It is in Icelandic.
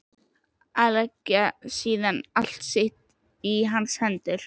Og leggja síðan allt sitt í hans hendur.